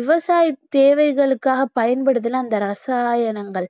விவசாய தேவைகளுக்காகப் பயன்படுத்தின அந்த ரசாயனங்கள்